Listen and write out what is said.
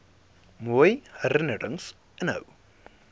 mooi herinnerings inhou